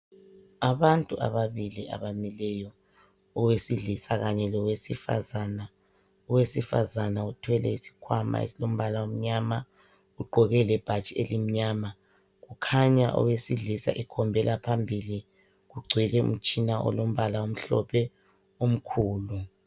Abantu ababili abamileyo owesilisa kanye lowesifazana, owesifazane uthwele isikhwama esilombala omnyama ugqoke lebhatshi elimnyama, kukhanya owesilisa ekhombela phambili kugcwele umtshina olombala omhlophe omkhulu.